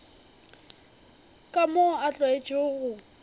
ka moo a tlwaetšego go